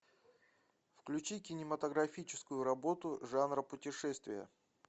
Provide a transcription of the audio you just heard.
включи кинематографическую работу жанра путешествие